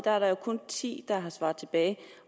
kun er ti der har svaret